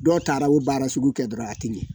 Dɔw taara u baara sugu kɛ dɔrɔn a ten ɲɛ.